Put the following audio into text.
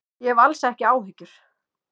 Ég hef alls ekki áhyggjur.